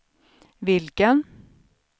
vilken